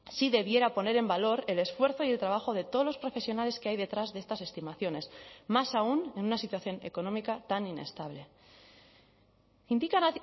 sí debiera poner en valor el esfuerzo y el trabajo de todos los profesionales que hay detrás de estas estimaciones más aún en una situación económica tan inestable indican